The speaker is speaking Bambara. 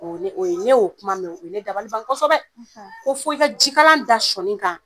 O ne o ye ɲe o kuma mɛ o ye ne dabali ban kɔsɛbɛ ko fo i ka jikalan da sɔɔni kan